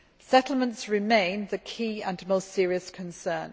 Settlements remain the key and most serious concern.